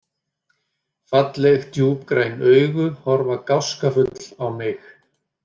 Falleg, djúpgræn augu horfa gáskafull á mig.